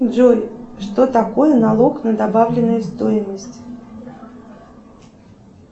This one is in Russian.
джой что такое налог на добавленную стоимость